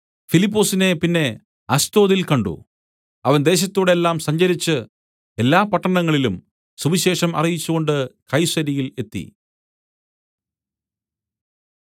ഫിലിപ്പൊസിനെ പിന്നെ അസ്തോദിൽ കണ്ട് അവൻ ദേശത്തൂടെല്ലാം സഞ്ചരിച്ച് എല്ലാ പട്ടണങ്ങളിലും സുവിശേഷം അറിയിച്ചുകൊണ്ട് കൈസര്യയിൽ എത്തി